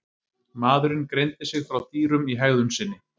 Maðurinn greindi sig frá dýrum í hegðun sinni.